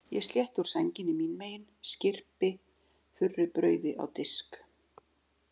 Ég slétti úr sænginni mín megin, skyrpi þurru brauði á disk.